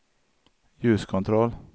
ljuskontroll